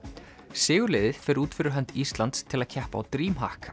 sigurliðið fer út fyrir hönd Íslands til að keppa á